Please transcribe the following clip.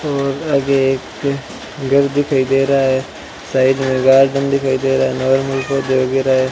और आगे एक घर दिखाई दे रहा है साइड में गार्डन दिखाई दे रहा है नॉर्मल पौधे वगैरा --